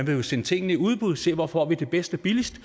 jo sende tingene i udbud og se hvor man får det bedst og billigst